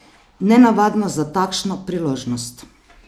Nenavadno za takšno priložnost.